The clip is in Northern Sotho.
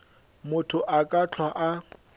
motho a ka hlwa a